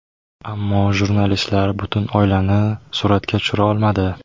Ammo jurnalistlar butun oilani suratga tushira olmadi.